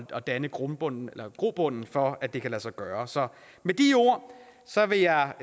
at danne grobund grobund for at det kan lade sig gøre så med de ord vil jeg